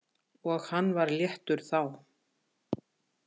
Og hann var léttur þá.